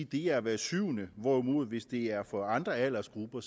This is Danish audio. det er hver syvende hvorimod hvis det er for andre aldersgrupper